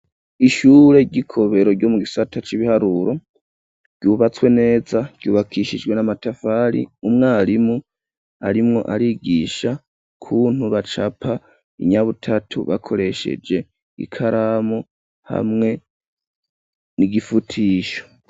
Ishure ry'ikobero ryo mu gisata c'ibiharuro ryubatswe neza ryubakishijwe n'amatafari, umwarimu arimwo arigisha ukuntu bacapa inyabutatu bakoresheje ikaramu hamwe n'igifutisho.